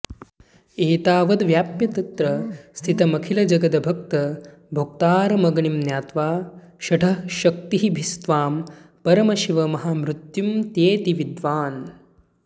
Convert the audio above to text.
एतावद्व्याप्य तत्र स्थितमखिलजगद्भक्तभोक्तारमग्निं ज्ञात्वा षट्च्छक्तिभिस्त्वां परमशिव महामृत्युमत्येति विद्वान्